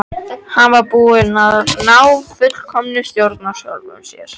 Hann var búinn að ná fullkominni stjórn á sjálfum sér.